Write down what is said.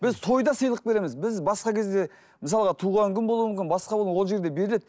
біз тойда сыйлық береміз біз басқа кезде мысалға туған күн болуы мүмкін басқа болуы ол жерде беріледі